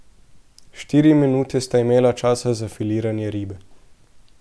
Štiri minute sta imela časa za filiranje ribe.